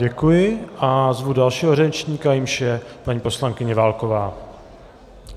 Děkuji a zvu dalšího řečníka, jímž je paní poslankyně Válková.